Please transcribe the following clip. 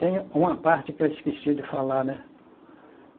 Tem uma parte que eu esqueci de falar, né?